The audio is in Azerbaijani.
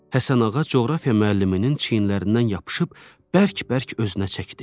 Həsənağa coğrafiya müəlliminin çiynlərindən yapışıb bərk-bərk özünə çəkdi.